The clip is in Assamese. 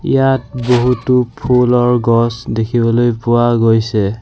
ইয়াত বহুতো ফুলৰ গছ দেখিবলৈ পোৱা গৈছে।